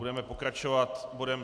Budeme pokračovat bodem